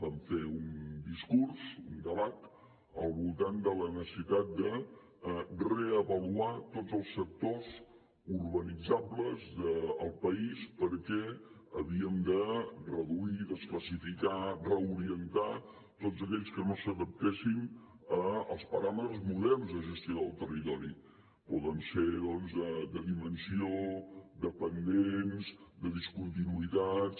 vam fer un discurs un debat al voltant de la necessitat de reavaluar tots els sectors urbanitzables del país perquè havíem de reduir desclassificar reorientar tots aquells que no s’adaptessin als paràmetres moderns de gestió del territori poden ser doncs de dimensió de pendents de discontinuïtats